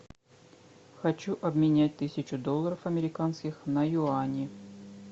хочу обменять тысячу долларов американских на юани